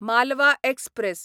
Malwa express